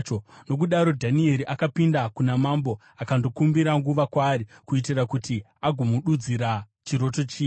Nokudaro, Dhanieri akapinda kuna mambo akandokumbira nguva kwaari, kuitira kuti agomududzira chiroto chiya.